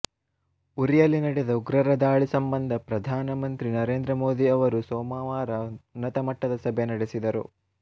ಉರಿಯಲ್ಲಿ ನಡೆದ ಉಗ್ರರ ದಾಳಿ ಸಂಬಂಧ ಪ್ರಧಾನಮಂತ್ರಿ ನರೇಂದ್ರ ಮೋದಿ ಅವರು ಸೋಮವಾರ ಉನ್ನತಮಟ್ಟದ ಸಭೆ ನಡೆಸಿದರು